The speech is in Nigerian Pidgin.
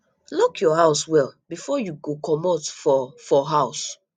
lock your house well before you go comot for for house